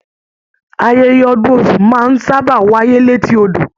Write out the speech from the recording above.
Ayẹyẹ ọdún Ọsún máa n sábà wáyé l'eti odò.